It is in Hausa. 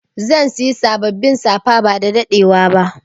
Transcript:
Zan Siya sabbabin safa ba dadadewa ba.